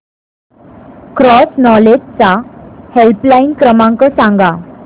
cross knowledge चा helpline क्रमांक सांगा